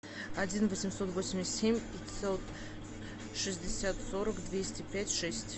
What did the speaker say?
один восемьсот восемьдесят семь пятьсот шестьдесят сорок двести пять шесть